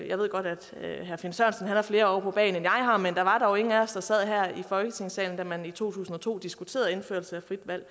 jeg ved godt herre finn sørensen har flere år på bagen end jeg har men der var dog ingen af os der sad her i folketingssalen da man i to tusind og to diskuterede indførelse af frit valg